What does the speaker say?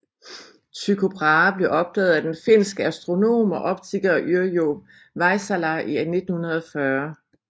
Tycho Brahe blev opdaget af den finske astronom og optiker Yrjö Väisälä i 1940